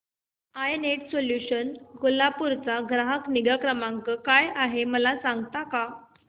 I Net Solutions Kolhapur चा ग्राहक निगा क्रमांक काय आहे मला सांगता का